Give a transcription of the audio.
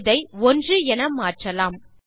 இதை 1 என மாற்றலாம்